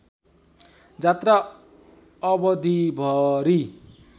जात्रा अवधिभरि